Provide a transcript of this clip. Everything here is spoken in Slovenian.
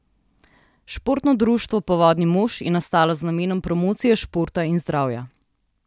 Športno društvo Povodni mož je nastalo z namenom promocije športa in zdravja.